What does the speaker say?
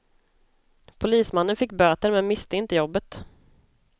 Polismannen fick böter, men miste inte jobbet.